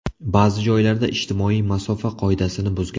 Ba’zi joylarda ijtimoiy masofa qoidasini buzgan.